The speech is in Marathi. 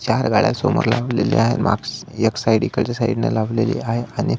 चार गाड्या समोर लावलेल्या आहे माग एक साइड इकडच्या साइडन लावलेली आहे आणि--